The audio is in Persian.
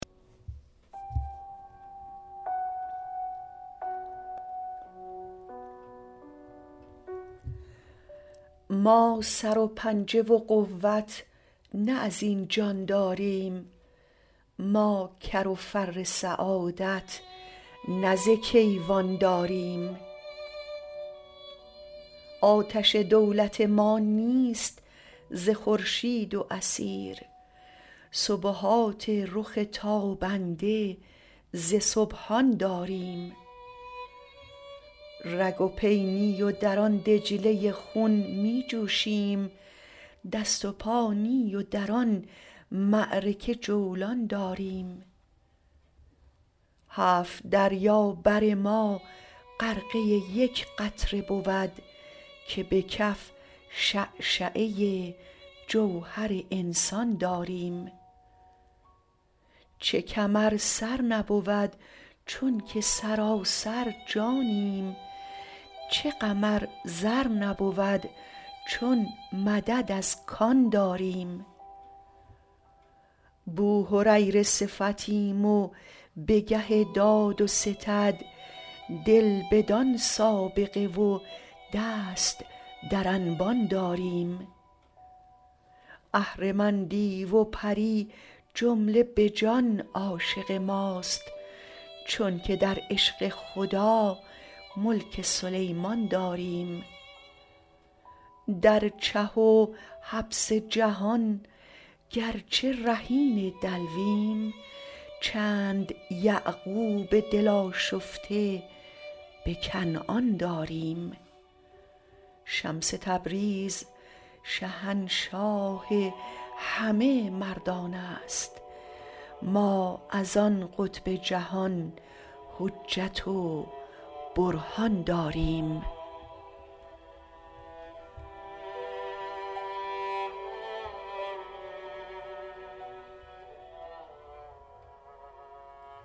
ما سر و پنجه و قوت نه از این جان داریم ما کر و فر سعادت نه ز کیوان داریم آتش دولت ما نیست ز خورشید و اثیر سبحات رخ تابنده ز سبحان داریم رگ و پی نی و در آن دجله خون می جوشیم دست و پا نی و در آن معرکه جولان داریم هفت دریا بر ما غرقه یک قطره بود که به کف شعشعه جوهر انسان داریم چه کم ار سر نبود چونک سراسر جانیم چه غم ار زر نبود چون مدد از کان داریم بوهریره صفتیم و به گه داد و ستد دل بدان سابقه و دست در انبان داریم اهرمن دیو و پری جمله به جان عاشق ماست چونک در عشق خدا ملک سلیمان داریم در چه و حبس جهان گرچه رهین دلویم چند یعقوب دل آشفته به کنعان داریم شمس تبریز شهنشاه همه مردان است ما از آن قطب جهان حجت و برهان داریم